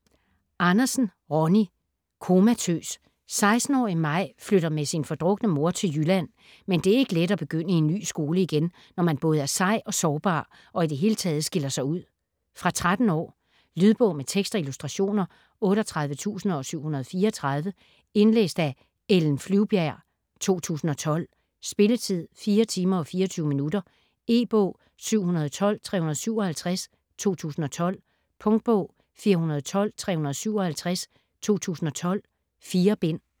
Andersen, Ronnie: Komatøs 16-årige Maj flytter med sin fordrukne mor til Jylland, men det er ikke let at begynde i en ny skole igen, når man både er sej og sårbar og i det hele taget skiller sig ud. Fra 13 år. Lydbog med tekst og illustrationer 38734 Indlæst af Ellen Flyvbjerg, 2012. Spilletid: 4 timer, 24 minutter. E-bog 712357 2012. Punktbog 412357 2012. 4 bind.